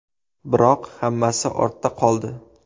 Biroq hammasi ortda qoldi.